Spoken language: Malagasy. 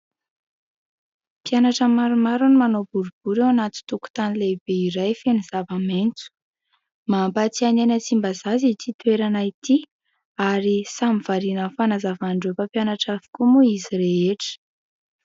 Mpianatra maromaro no manao boribory ao anaty tokotany lehibe iray feno zavamaitso. Mampatsiahy ahy ny any Tsimbazaza ity toerana ity, ary samy variana amin'ny fanazavan'ireo mpampianatra avokoa moa izy rehetra.